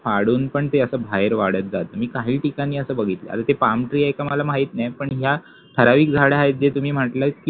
पडून पण ते असं बाहेर वाढत जातं मी काही ठिकाणी असं बघितलंय, आता ते palm tree आहे कि नाही मला माहित नाही पण ह्या ठराविक झाडं आहेत जे तुम्ही म्हटलेत